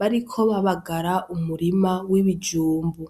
bariko babagara umurima w'ibijumbu.